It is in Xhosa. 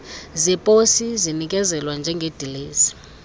zeposi zinikezelwa njengedilesi